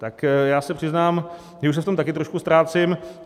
Tak já se přiznám, že už se v tom také trošku ztrácím.